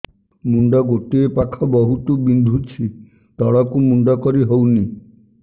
ମୁଣ୍ଡ ଗୋଟିଏ ପାଖ ବହୁତୁ ବିନ୍ଧୁଛି ତଳକୁ ମୁଣ୍ଡ କରି ହଉନି